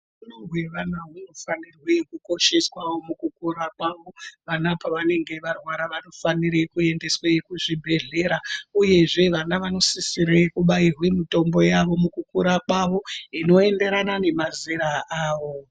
Hutano hwevana hunofanire kukosheswawo mukukura kwavo, vana pavanenge varwara vanofanire kuendeswe kuzvibhedhlera uyezve vana vanosisire kubairwe mitombo yavo mukukura kwavo inoenderana nemazera awo.